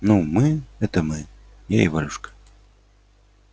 ну мы это мы я и валюшка